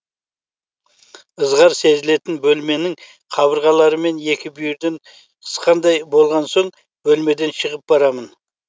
ызғар сезілетін бөлмемнің қабырғалары мені екі бүйірден қысқандай болған соң бөлмеден шығып барамын